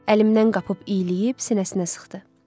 Əlimdən qapıb iyləyib sinəsinə sıxdı.